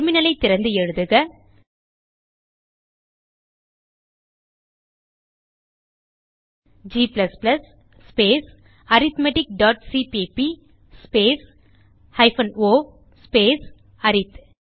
terminal ஐ திறந்து எழுதுக g ஸ்பேஸ் arithmeticசிபிபி ஸ்பேஸ் o ஸ்பேஸ் அரித்